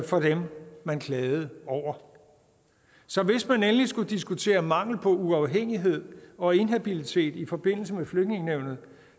for dem man klagede over så hvis man endelig skulle diskutere mangel på uafhængighed og inhabilitet i forbindelse med flygtningenævnet